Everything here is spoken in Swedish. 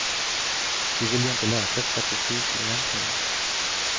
Du vill ju inte läsa statistik egentligen.